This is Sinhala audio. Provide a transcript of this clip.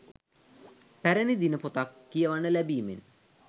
පැරණි දිනපොතක් කියවන්න ලැබීමෙන්